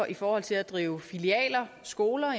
i forhold til at drive filialer skoler